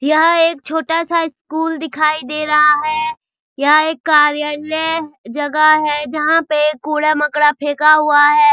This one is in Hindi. यह एक छोटा-सा स्कूल दिखाई दे रहा है यह एक कार्यालय जगह है जहाँ पे कूड़ा-मकोड़ा फेंका हुआ है।